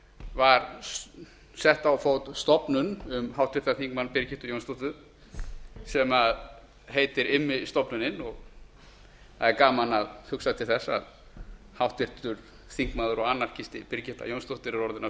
var sett á fót stofnun um háttvirtum þingmanni birgittu jónsdóttur sem heitir immistofnunin og það er gaman að hugsa til þess að háttvirtur þingmaður og anarkisti birgitta jónsdóttir er orðin að